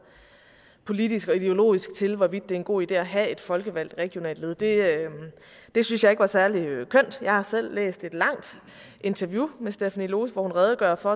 politisk og ideologisk til hvorvidt det er en god idé at have et folkevalgt regionalt led det det synes jeg ikke var særlig kønt jeg har selv læst et langt interview med stephanie lose hvor hun redegør for